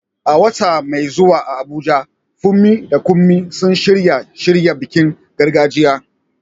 A wata mai zuwa a Abuja, Funmi da Kunmi sun shirya shirya bikin gargajiya.